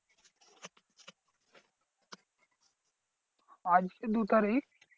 আজকে দু তারিখ।